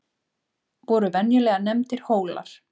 voru venjulega nefndir hólar